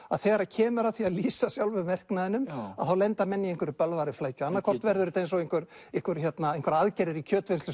að þegar að kemur að því að lýsa sjálfum verknaðnum að þá lenda menn í bölvaðri flækju annað hvort verður þetta eins og einhverjar einhverjar aðgerðir í